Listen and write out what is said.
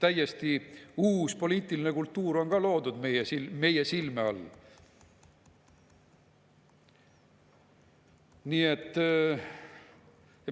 Täiesti uus poliitiline kultuur on loodud meie silme all.